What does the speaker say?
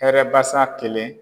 Hɛrɛbasa kelen